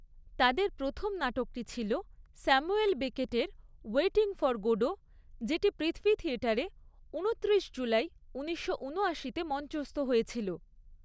তাদের প্রথম নাটকটি ছিল স্যামুয়েল বেকেটের ওয়েটিং ফর গোডো, যেটি পৃথ্বী থিয়েটারে উনত্রিশ জুলাই উনিশশো উনআশিতে মঞ্চস্থ হয়েছিল।